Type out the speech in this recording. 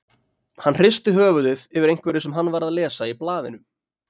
Hann hristi höfuðið yfir einhverju sem hann var að lesa í blaðinu.